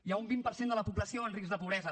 hi ha un vint per cent de la població en risc de pobresa